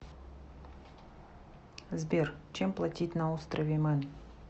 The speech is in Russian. сбер чем платить на острове мэн